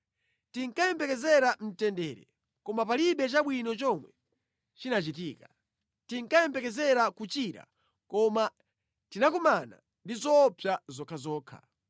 Tinkayembekezera mtendere koma palibe chabwino chomwe chinachitika, tinkayembekezera kuchira koma tinakumana ndi zoopsa zokhazokha.